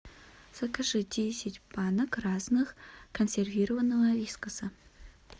закажи десять банок разных консервированного вискаса